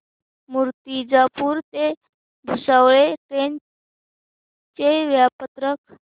मूर्तिजापूर ते भुसावळ ट्रेन चे वेळापत्रक